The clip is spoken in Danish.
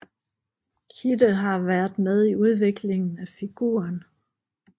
Kidde har været med i udviklingen af figuren